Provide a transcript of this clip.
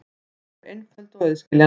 Þau eru einföld og auðskiljanleg.